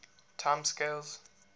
time scales